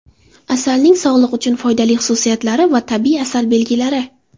Asalning sog‘liq uchun foydali xususiyatlari va tabiiy asal belgilari.